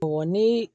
ni